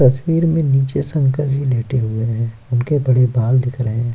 तस्वीर में नीचे शंकर जी लेटे हुए हैं उनके बड़े बाल दिख रहे हैं।